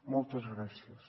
moltes gràcies